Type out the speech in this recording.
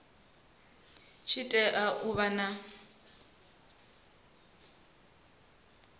tshi tea u vha na